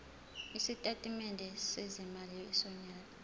isitatimende sezimali sonyaka